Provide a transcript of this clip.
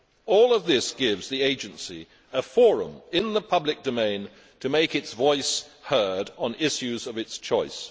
All of this gives the Agency a forum in the public domain to make its voice heard on issues of its choice.